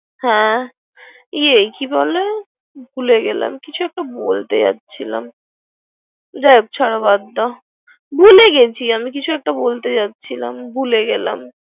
হ্যা ইয়ে কি বলে ভুলে গেলাম। কিছু একটা বলতে যাচ্ছিলাম যাই হোক ছারো বাদ, ভুলে গেছি আমি কিচু একটা বলতে যাচ্ছিলাম।